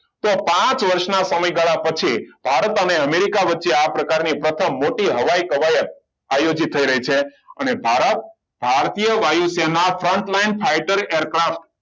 તો પાંચ વર્ષના સમયગાળા પછી ભારત અને અમેરિકા વચ્ચે આ પ્રકારની પ્રથમ મોટી હવાઈ કવાયત આયોજિત થઈ રહી છે અને ભારત ભારતીય વાયુસેના frontline fighter aircraft